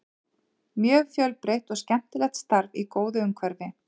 Mjög fjölbreytt og skemmtilegt starf í góðu umhverfi.